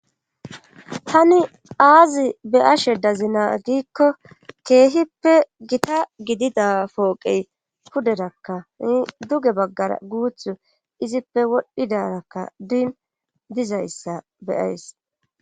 tani aazi be ashe dazina giikko keehippe gita gidida pooqey puderakka in duge baggara guuth izippe wodhdhidarakka diin dizayssa beyays